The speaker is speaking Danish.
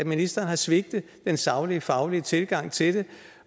ministeren har svigtet den saglige og faglige tilgang til det